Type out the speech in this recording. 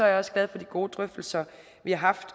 jeg også glad for de gode drøftelser vi har haft